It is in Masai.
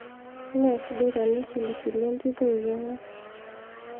ime sidai tenisilisil entito eeiking'a